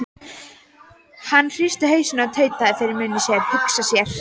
Hann hristi hausinn og tautaði fyrir munni sér: Hugsa sér.